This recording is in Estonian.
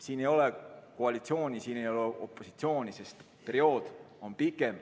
Siin ei ole koalitsiooni, siin ei ole opositsiooni, sest see periood on pikem.